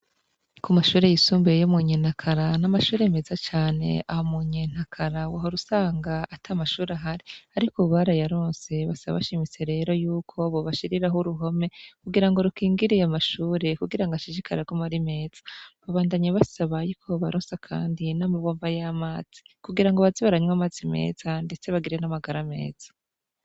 Ku mashure yisumbuye yo mu Nyenakara ni amashuri meza cane. Aho mu nyenakara, wahora usanga at'amashuri ahari, ariko ubu barayaronse. Basaba bashimitse rero y'uko bobashiriraho uruhome, kugira ngo rukingirire amashure. Kugira ngo ashishjikara agume ari meza. babandanye basaba yuko baronsa kandi n'amabomba y'amazi, kugira ngo baze baranywa amatzi meza, ndetse bagire n'amagara meza